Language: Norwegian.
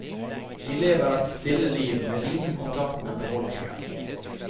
De lever et stille liv, med liten kontakt med befolkningen.